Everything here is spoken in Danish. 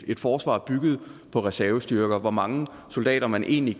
et forsvar bygget på reservestyrker altså hvor mange soldater man egentlig